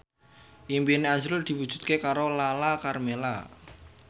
impine azrul diwujudke karo Lala Karmela